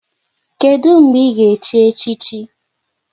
Kedụ mgbe ị ga-echi echichi?